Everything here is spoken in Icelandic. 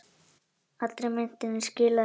Allri myntinni skilað í banka